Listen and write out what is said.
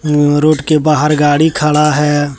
Road के बाहर गाड़ी खड़ा है।